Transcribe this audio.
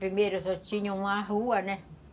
Primeiro só tinha uma rua, né?